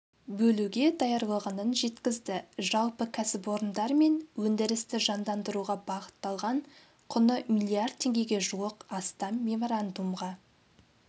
бөлуге даярлығынын жеткізді жалпы кәсіпорындар мен өндірісті жандандыруға бағытталған құны миллиард теңгеге жуық астам меморандумға